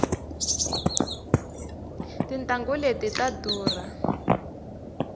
tintanghu leti ta durha